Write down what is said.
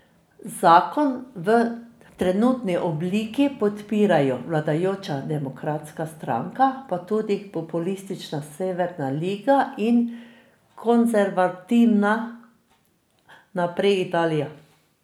Zakon v trenutni obliki podpirajo vladajoča Demokratska stranka pa tudi populistična Severna liga in konservativna Naprej Italija.